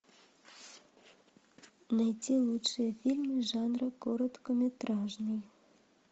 найти лучшие фильмы жанра короткометражный